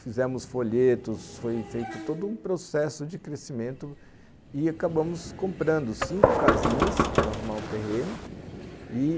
Fizemos folhetos, foi feito todo um processo de crescimento e acabamos comprando cinco casinhas para arrumar o terreno e,